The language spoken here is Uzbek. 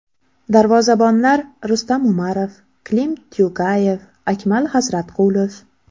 Darvozabonlar: Rustam Umarov, Klim Tyugayev, Akmal Xazratqulov.